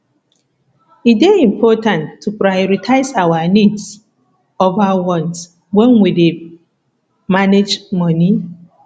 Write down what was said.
e dey important to prioritize our needs over wants when we dey manage money